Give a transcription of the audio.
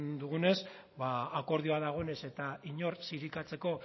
dugunez ba akordio dagoenez eta inor zirikatzeko